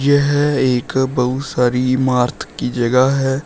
यह एक बहोत सारी इमारत की जगह है।